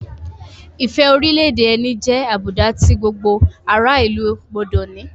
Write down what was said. Ìfẹ́ orílẹ̀-èdè ẹni jẹ́ àbùdá tí gbogbo ará-ìlú gbọdọ̀ ní.